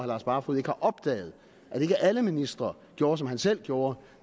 lars barfoed ikke har opdaget at ikke alle ministre gjorde som han selv gjorde